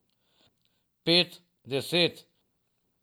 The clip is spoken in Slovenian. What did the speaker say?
Pet, deset.